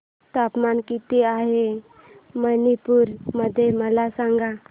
तापमान किती आहे मणिपुर मध्ये मला सांगा